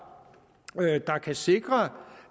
der kan sikre